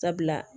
Sabula